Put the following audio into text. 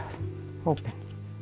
hópinn